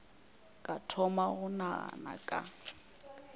ka thoma go nagana ka